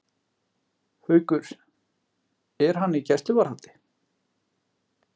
Haukur: Er hann í gæsluvarðhaldi?